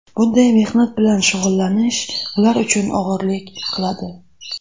Bunday mehnat bilan shug‘ullanish ular uchun og‘irlik qiladi.